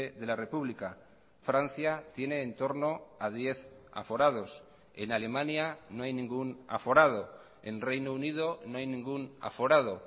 de la república francia tiene entorno a diez aforados en alemania no hay ningún aforado en reino unido no hay ningún aforado